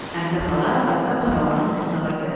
Həmidə xala qapıdan aralanıb otağa gəlir.